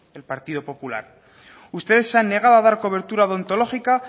el partido popular ustedes se han negado a dar cobertura odontológica